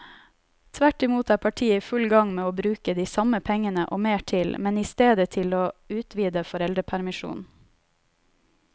Tvert imot er partiet i full gang med å bruke de samme pengene og mer til, men i stedet til å utvide foreldrepermisjonen.